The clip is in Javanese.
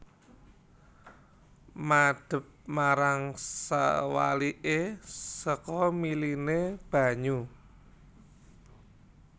Madep marang sewaliké saka miliné banyu